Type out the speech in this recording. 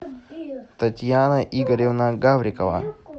татьяна игоревна гаврикова